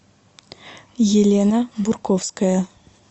елена бурковская